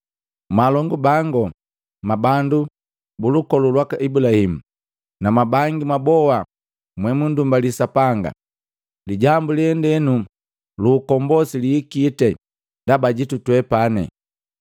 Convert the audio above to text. “Mwalongu bangu, mwabandu bulukolu lwaka Ibulahimu, na mwabangi mwaboha mwemundumbali Sapanga! Lijambu lendenu lu ukombosi lihikiti ndaba jitu twepani.